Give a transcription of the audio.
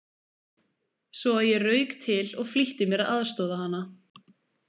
Svo að ég rauk til og flýtti mér að aðstoða hana.